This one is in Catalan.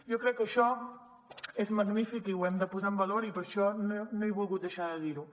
jo crec que això és magnífic i ho hem de posar en valor i per això no he volgut deixar de dir ho